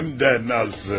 Həm də necə.